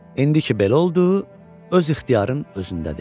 İndiki belə oldu, öz ixtiyarın özündədir.